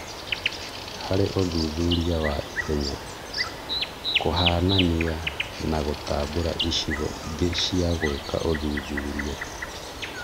Harĩ ũthuthuria wa ihenya, kũhanania na gũtambũra icigo ingĩ cia gũĩka ũthuthuria.